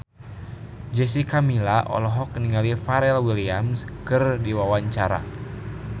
Jessica Milla olohok ningali Pharrell Williams keur diwawancara